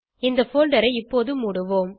இந்த போல்டர் ஐ இப்போது மூடுவோம்